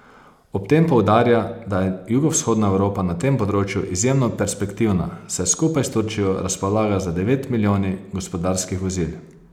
Ob tem poudarja, da je jugovzhodna Evropa na tem področju izjemno perspektivna, saj skupaj s Turčijo razpolaga z devet milijoni gospodarskih vozil.